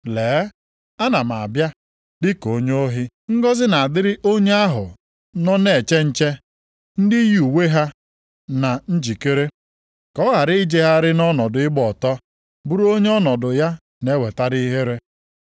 “Lee! Ana m abịa dịka onye ohi. Ngọzị na-adịrị onye ahụ nọ na-eche nche, ndị yi uwe ha na njikere, ka ọ ghara ijegharị nʼọnọdụ ịgba ọtọ, bụrụ onye ọnọdụ ya na-eweta ihere.”